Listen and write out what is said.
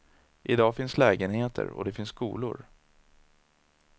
I dag finns lägenheter och det finns skolor.